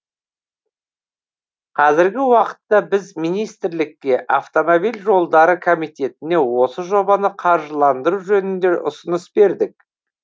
қазіргі уақытта біз министрлікке автомобиль жолдары комитетіне осы жобаны қаржыландыру жөнінде ұсыныс бердік